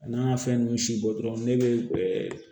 A n'an y'a fɛn nunnu si bɔ dɔrɔn ne bɛ ɛɛ